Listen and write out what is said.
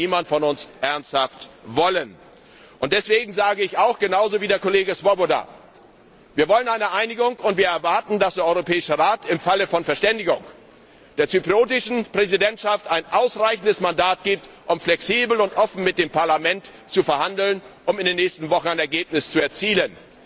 Das kann niemand von uns ernsthaft wollen! Deswegen sage ich auch, genauso wie der Kollege Swoboda Wir wollen eine Einigung und wir erwarten, dass der Europäische Rat im Falle einer Verständigung der zyprischen Präsidentschaft ein ausreichendes Mandat gibt, um flexibel und offen mit dem Parlament zu verhandeln, um in den nächsten Wochen ein Ergebnis zu erzielen.